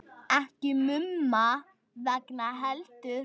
Ekki Mumma vegna heldur.